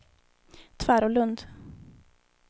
Tvärålund